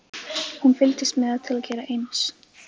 Hún fylgdist með til að gera eins.